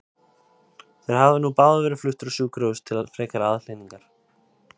Þeir hafa nú báðir verið fluttir á sjúkrahús til frekari aðhlynningar.